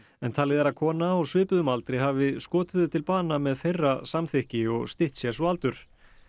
talið er kona á svipuðum aldri hafi skotið þau til bana með þeirra samþykki og stytt sér svo aldur